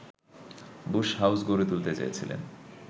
Bush house গড়ে তুলতে চেয়েছিলেন